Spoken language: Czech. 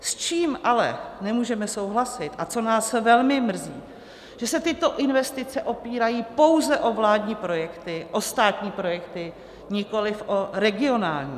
S čím ale nemůžeme souhlasit a co nás velmi mrzí, že se tyto investice opírají pouze o vládní projekty, o státní projekty, nikoliv o regionální.